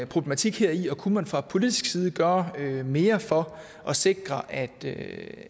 problematik heri og kunne man fra politisk side gøre mere for at sikre at